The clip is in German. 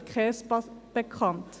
mir wäre keines bekannt.